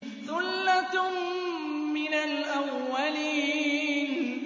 ثُلَّةٌ مِّنَ الْأَوَّلِينَ